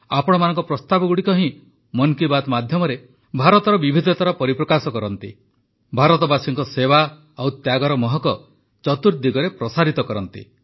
ଆପଣମାନଙ୍କ ପ୍ରସ୍ତାବଗୁଡ଼ିକ ହିଁ ମନ୍ କି ବାତ୍ ମାଧ୍ୟମରେ ଭାରତର ବିବିଧତାର ପରିପ୍ରକାଶ କରନ୍ତି ଭାରତବାସୀଙ୍କ ସେବା ଓ ତ୍ୟାଗର ମହକ ଚତୁର୍ଦିଗରେ ପ୍ରସାରିତ କରନ୍ତି